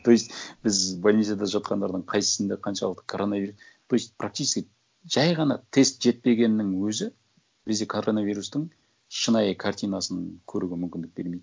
то есть біз больницада жатқандардың қайсысында қаншалық то есть практически жай ғана тест жетпегеннің өзі бізде коронавирустың шынайы картинасын көруге мүмкіндік бермейді